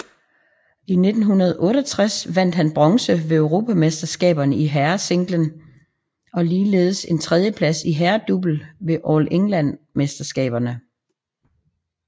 I 1968 vandt han bronze ved Europamesterskaberne i herresinglerækken og ligeledes en tredieplads i herredouble ved All England mesterskaberne